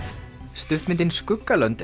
stuttmyndin